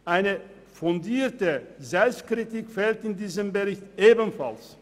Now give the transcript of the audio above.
Eine fundierte Selbstkritik fehlt in diesem Bericht ebenfalls.